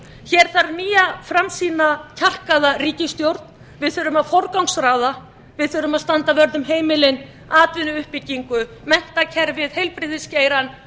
hér þarf nýja framsýna kjarkaða ríkisstjórn við þurfum að forgangsraða við þurfum að standa vörð um heimilin atvinnuuppbyggingu menntakerfið heilbrigðisgeirann